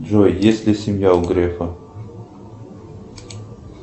джой есть ли семья у грефа